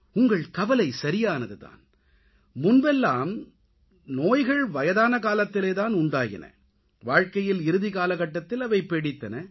உங்கள் கவலை சரியானது தான் முன்பெல்லாம் நோய்கள் வயதான காலத்திலே தான் உண்டாயின வாழ்க்கையில் இறுதிக்காலகட்டத்தில் அவை பீடித்தன